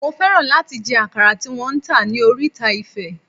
Mo fẹ́ràn láti jẹ àkàrà tí wón ń tà ní oríta Ifẹ̀.